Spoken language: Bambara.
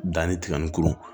Danni tiga ni kuru